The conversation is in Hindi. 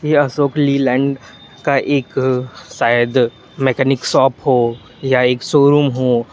यह अशोक लीलैंड का एक शायद मैकेनिक शॉप हो या एक शोरूम हो।